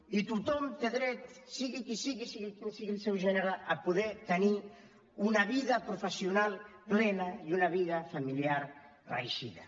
i tothom té dret sigui qui sigui sigui quin sigui el seu gènere a poder tenir una vida professional plena i una vida familiar reeixida